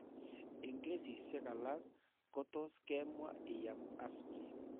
Eng' kesisiek alak ko tos' ke mwa ii am aspirin.